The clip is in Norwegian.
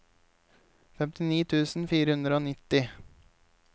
femtini tusen fire hundre og nitti